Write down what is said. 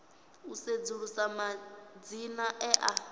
u sedzulusa madzina e a